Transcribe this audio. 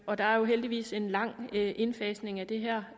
og der er jo heldigvis en lang indfasning af det her